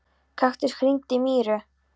Kaktus, hringdu í Míru.